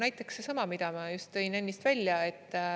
Näiteks seesama, mida ma just tõin ennist välja.